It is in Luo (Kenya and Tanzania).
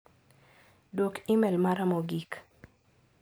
Duok imel mara mogik.